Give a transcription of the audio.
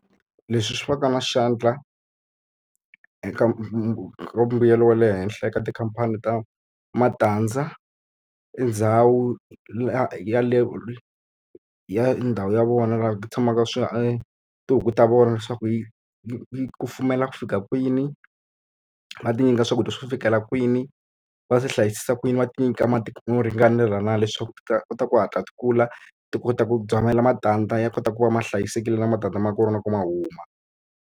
Leswi swi va ka na xandla eka mbuyelo wa le henhla eka tikhampani ta matandza, i ndhawu yeleyo i ya ndhawu ya vona laha ku tshamaka swi e tihuku ta vona leswaku yi yi yi kufumela ku fika kwini. Va ti nyika swakudya swo fikela kwini. Va swi hlayisisa ku yini? Va ti nyika mati mo ringanela na leswaku ti ta kota ku hatla ti kula, ti kota ku matandza ya kota ku va ma hlayisekile na matandza ma kona ku ma huma.